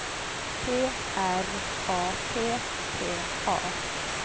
T R A P P A